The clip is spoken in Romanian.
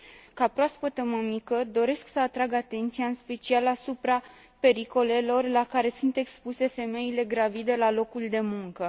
Ca proaspătă mămică, doresc să atrag atenția în special asupra pericolelor la care sunt expuse femeile gravide la locul de muncă.